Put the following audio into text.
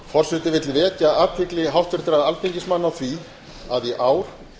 forseti vill vekja athygli háttvirtra alþingismanna á því að í ár